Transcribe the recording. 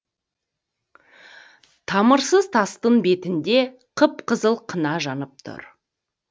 тамырсыз тастың бетінде қып қызыл қына жанып тұр